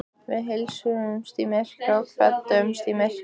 Við heilsuðumst í myrkri og kvöddumst í myrkri.